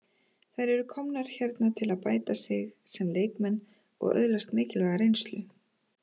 Þær eru komnar hérna til að bæta sig sem leikmenn og öðlast mikilvæga reynslu.